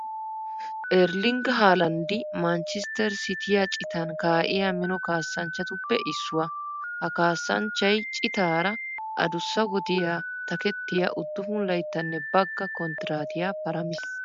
Erlling haalanddi manchchestter siitiya citan kaa'iya mino kaassanchchatuppe issuwa. Ha kaassanchchay citaara adussa wodiya takettiya 9 layttanne bagga konttiraatiya paramiis.